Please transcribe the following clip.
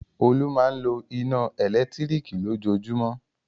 Olú máa ń lo iná ẹ̀lẹ́tíríkì lójoojúmọ́.